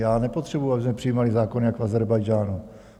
Já nepotřebuju, abychom přijímali zákon jak v Ázerbájdžánu.